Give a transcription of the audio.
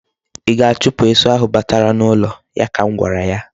I ga-achupu esu ahụ batara n'ụlọ. ya ka m gwara ya.